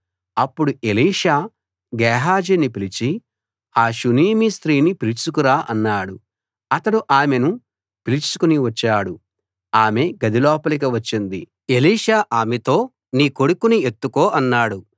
అప్పుడు ఎలీషా గేహజీని పిలిచి ఆ షూనేమీ స్త్రీని పిలుచుకురా అన్నాడు అతడు ఆమెను పిలుచుకు వచ్చాడు ఆమె గది లోపలికి వచ్చింది ఎలీషా ఆమెతో నీ కొడుకుని ఎత్తుకో అన్నాడు